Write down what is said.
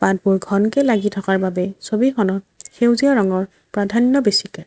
পাতবোৰ ঘনকে লাগি থকাৰ বাবে ছবিখনৰ সেউজীয়া ৰঙৰ প্ৰাধান্য বেছিকে।